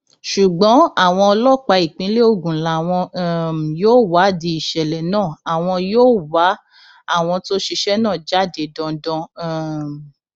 ṣùgbọn àwọn ọlọpàá ìpínlẹ ogun làwọn um yóò wádìí ìṣẹlẹ náà àwọn yóò wá àwọn tó ṣiṣẹ náà jáde dandan um